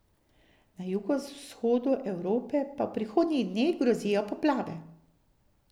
Na jugovzhodu Evrope pa v prihodnjih dneh grozijo poplave.